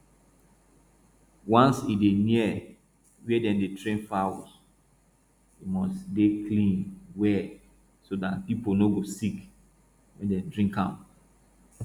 once e dey near where dem dey train fowls e must dey clean well so dat people no go sick when dem drink am